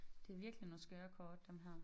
Det virkelig nogle skøre kort dem her